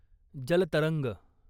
जल तरंग